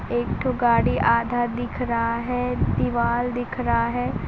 एकठो गाड़ी आधा दिख रहा है दीवाल दिख रहा है।